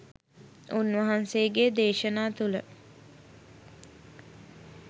උන්වහන්සේගේ දේශනා තුළ